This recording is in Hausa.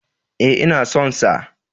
E, ina son sa.